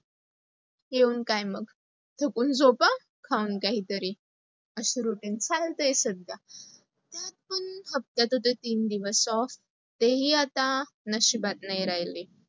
येऊन काय मग, सुकून झोपा खाऊन काही तरी. अस routine चालतय सध्या. त्या तुन फक्त ते तीन दिवस off, तेही आता तशिबात नाही राहिले.